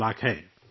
5 لاکھ ہے